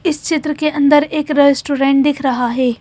इस चित्र के अंदर एक रेस्टोरेंट दिख रहा है।